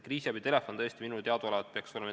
Kriisiabi telefon minule teadaolevalt peaks toimima.